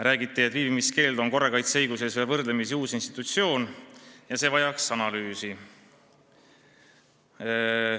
Räägiti sellest, et viibimiskeeld on korrakaitseõiguses võrdlemisi uus institutsioon ja see vajaks analüüsi.